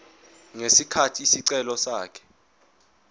ngesikhathi isicelo sakhe